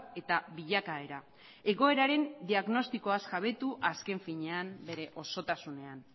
eta bilakaera egoeraren diagnostikoaz jabetu azken finean bere osotasunean